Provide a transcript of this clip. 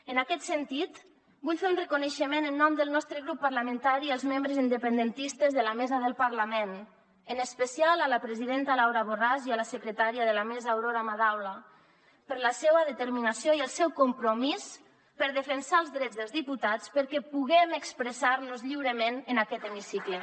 en aquest sentit vull fer un reconeixement en nom del nostre grup parlamentari als membres independentistes de la mesa del parlament en especial a la presidenta laura borràs i a la secretària de la mesa aurora madaula per la seua determinació i el seu compromís per defensar els drets dels diputats perquè puguem expressarnos lliurement en aquest hemicicle